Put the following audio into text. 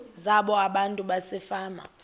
zabo abantu basefama